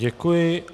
Děkuji.